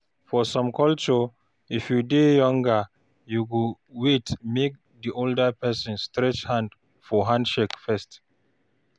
For some culture, if you dey younger you go wait make di older person stretch hand for handshake first